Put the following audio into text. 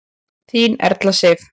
Þín Erla Sif.